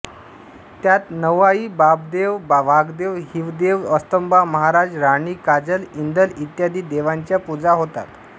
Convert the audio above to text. त्यात नवाई बाबदेव वाघदेव हिंवदेव अस्तंबा महाराज राणी काजल इंदल इ देवांच्या पूजा होतात